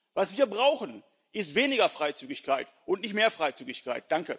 Was wir brauchen, ist weniger Freizügigkeit, und nicht mehr Freizügigkeit.